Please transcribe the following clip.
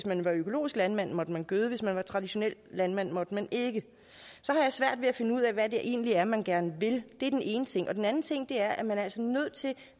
man var økologisk landmand måtte man gøde men hvis man var traditionel landmand måtte man ikke så har jeg svært ved at finde ud af hvad det egentlig er man gerne vil det er den ene ting den anden ting er at man altså er nødt til